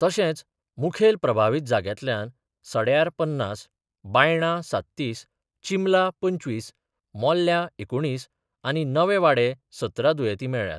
तशेच मुखेल प्रभावित जाग्यांतल्या सड्यार पन्नास, बायणा सात्तीस, चिंबला पंचवीस, मोर्ल्या एकुणीस आनी नवेवाडे सतरा दुयेती मेळ्ळ्यात.